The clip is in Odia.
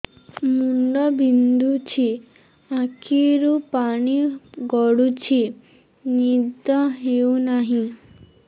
ମୁଣ୍ଡ ବିନ୍ଧୁଛି ଆଖିରୁ ପାଣି ଗଡୁଛି ନିଦ ହେଉନାହିଁ